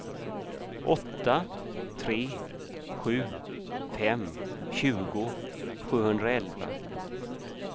åtta tre sju fem tjugo sjuhundraelva